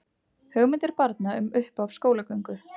Hugmyndir barna um upphaf skólagöngu